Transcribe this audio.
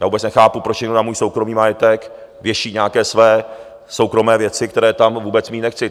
Já vůbec nechápu, proč někdo na můj soukromý majetek věší nějaké své soukromé věci, které tam vůbec mít nechci.